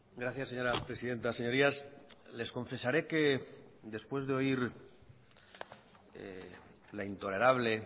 gracias señora presidenta señorías les confesaré que después de oír la intolerable